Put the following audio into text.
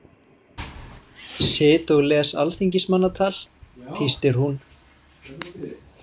Sit og les alþingismannatal, tístir hún.